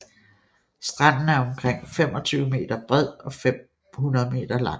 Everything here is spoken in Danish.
Stranden er omkring 25 m bred og 500 m lang